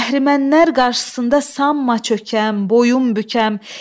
Əhərmənlər qarşısında sanma çökəm, boyun bükəm.